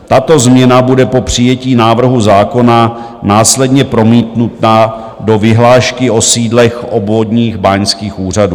Tato změna bude po přijetí návrhu zákona následně promítnuta do vyhlášky o sídlech obvodních báňských úřadů.